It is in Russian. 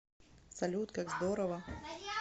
салют как здорово